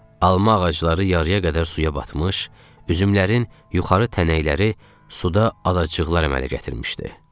Alma ağacları yarıya qədər suya batmış, üzümlərin yuxarı tənəkləri suda adacıqlar əmələ gətirmişdi.